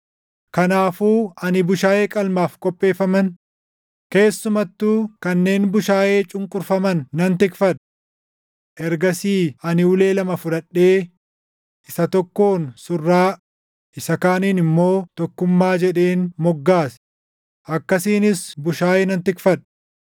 Kanaafuu ani bushaayee qalmaaf qopheeffaman, keessumattuu kanneen bushaayee cunqurfaman nan tikfadhe. Ergasii ani ulee lama fudhadhee isa tokkoon Surraa isa kaaniin immoo Tokkummaa jedheen moggaase; akkasiinis bushaayee nan tikfadhe.